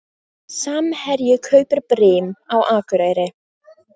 Samherji kaupir Brim á Akureyri